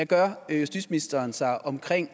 gør justitsministeren sig om